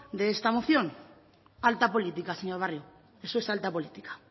de esta moción alta política señor barrio eso es alta política